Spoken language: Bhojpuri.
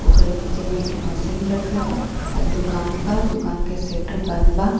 ओकर नीचे में एक ठो मशीन रखल बा आ दुकान बा दुकान के सेटर बंद बा।